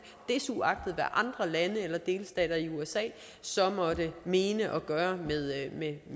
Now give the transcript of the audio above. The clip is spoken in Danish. desuagtet hvad andre lande eller delstater i usa så måtte mene og gøre med